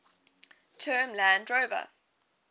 term land rover